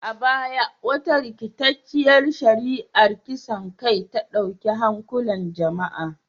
A baya, wata rikitacciyar shari’ar kisan kai ta dauki hankulan jama’a